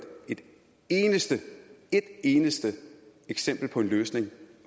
et eneste et eneste eksempel på en løsning